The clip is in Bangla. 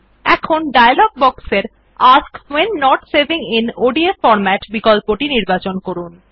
এখন ডায়লগ বক্সের মধ্যে ask when not saving in ODF format বিকল্পটি নির্বাচন করুন